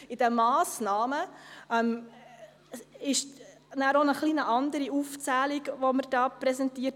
In den Massnahmen erhalten wir dann auch eine etwas andere Aufzählung präse ntiert.